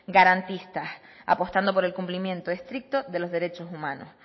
garantistas apostando por el cumplimiento estricto de los derechos humanos